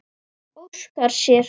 Óskar sér.